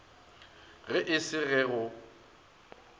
ge e se ge go